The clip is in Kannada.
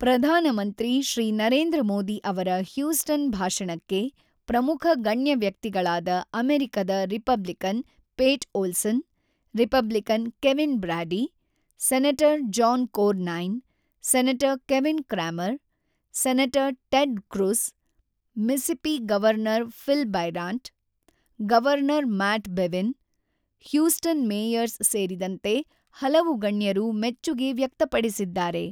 ಪ್ರಧಾನಮಂತ್ರಿ ಶ್ರೀ ನರೇಂದ್ರ ಮೋದಿ ಅವರ ಹ್ಯೂಸ್ಟನ್ ಭಾಷಣಕ್ಕೆ ಪ್ರಮುಖ ಗಣ್ಯ ವ್ಯಕ್ತಿಗಳಾದ ಅಮೆರಿಕದ Republican Pete Olson, Republican Kevin Brady, senator John Cornyn, senator Kevin Cramer, senator Ted Cruz, Mississippi governor Phil Bryant, governor Matt Bevin, Houston mayors ಸೇರಿದಂತೆ ಹಲವು ಗಣ್ಯರು ಮೆಚ್ಚುಗೆ ವ್ಯಕ್ತಪಡಿಸಿದ್ದಾರೆ.